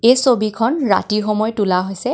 এই ছবিখন ৰাতি সময়ত তোলা হৈছে.